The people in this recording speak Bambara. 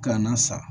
Gana sa